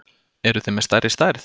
Eruð þið með stærri stærð?